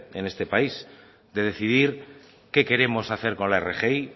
en este país de decidir qué queremos hacer con la rgi